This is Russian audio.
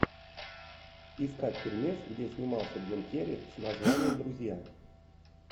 искать фильмец где снимался джим керри с названием друзья